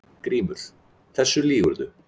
GRÍMUR: Þessu lýgurðu!